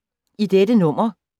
I dette nummer